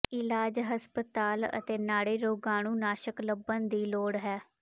ਇਲਾਜ ਹਸਪਤਾਲ ਅਤੇ ਨਾੜੀ ਰੋਗਾਣੂਨਾਸ਼ਕ ਲੱਭਣ ਦੀ ਲੋੜ ਹੈ